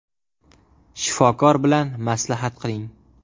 Shifokor bilan maslahat qiling”.